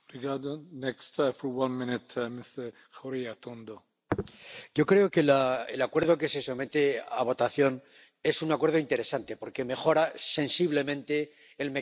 Señor presidente, yo creo que el Acuerdo que se somete a votación es un acuerdo interesante porque mejora sensiblemente el mecanismo de la iniciativa ciudadana.